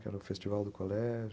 Que era o festival do colégio.